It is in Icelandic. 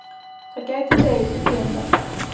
Það gæti dregið til tíðinda.